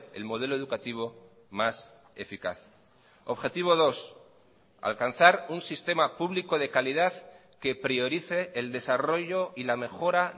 el modelo educativo más eficaz objetivo dos alcanzar un sistema público de calidad que priorice el desarrollo y la mejora